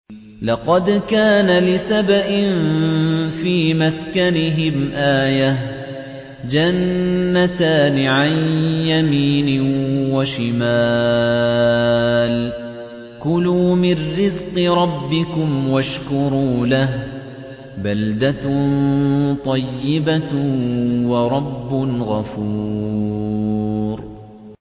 لَقَدْ كَانَ لِسَبَإٍ فِي مَسْكَنِهِمْ آيَةٌ ۖ جَنَّتَانِ عَن يَمِينٍ وَشِمَالٍ ۖ كُلُوا مِن رِّزْقِ رَبِّكُمْ وَاشْكُرُوا لَهُ ۚ بَلْدَةٌ طَيِّبَةٌ وَرَبٌّ غَفُورٌ